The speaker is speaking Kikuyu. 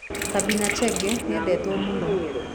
Sabina Chege nĩendetwo mũno